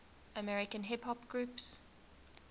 american hip hop groups